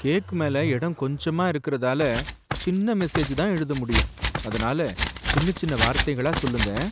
Cake மேல இடம் கொஞ்சமா இருக்குறதால, சின்ன மெசேஜ்தான் எழுத முடியும். அதனால சின்ன சின்ன வார்த்தைகளா சொல்லுங்க.